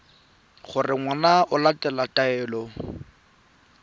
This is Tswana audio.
gore ngwana o latela taelo